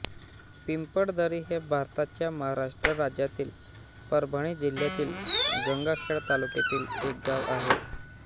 पिंपळदरी हे भारताच्या महाराष्ट्र राज्यातील परभणी जिल्ह्यातील गंगाखेड तालुक्यातील एक गाव आहे